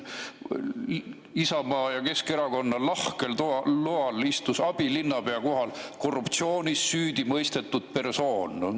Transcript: Isamaa ja Keskerakonna lahkel loal istus abilinnapea kohal korruptsioonis süüdi mõistetud persoon.